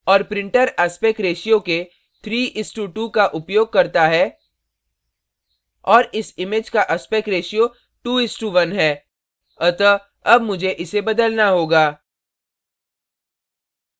और printer aspect ratio aspect ratio के 3:2 का उपयोग करता है और इस image का aspect ratio 2:1 है अतः अब मुझे इसे बदलना होगा